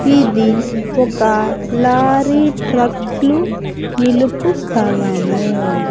ఇది ఒక లారీ ట్రక్లు నిలుపు స్థలము.